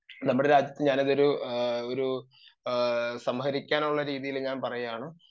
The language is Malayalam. ഇപ്പൊ നമ്മുടെ രാജ്യത്തു ഞാൻ ഒരു ഉപസംഹരിക്കുക എന്നുള്ള രീതിയിൽ ഞാൻ പറയുകയാണ്